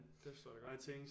Det forstår jeg da godt